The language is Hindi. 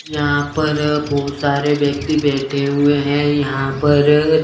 यहां पर बहुत सारे व्यक्ति बैठे हुए हैं यहां पर--